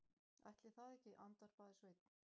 Ætli það ekki, andvarpaði Sveinn.